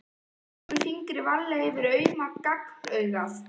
Strýkur fingri varlega yfir auma gagnaugað.